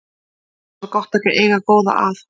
Svo var gott að eiga góða að.